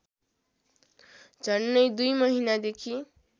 झन्डै २ महिनादेखि